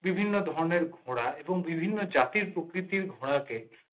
বিভিন্ন ধরনের ঘোড়া বিভিন্ন জাতির প্রকৃতির ঘোড়াকে